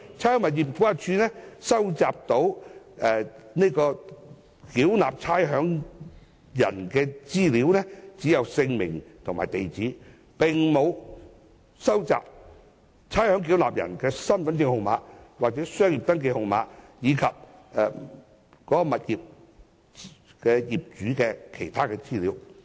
差餉物業估價署能夠收集的差餉繳納人資料就只有姓名和地址，而沒有身份證號碼、商業登記證號碼及物業業主的資料。